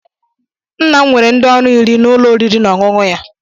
Nna m were ndị ọrụ iri n'ụlọ oriri na ọṅụṅụ ya.